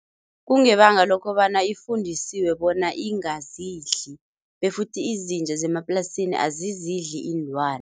Kungebanga lokobana ifundiswe bona ingazidli befuthi izinja zemaplasini azizidli iinlwane.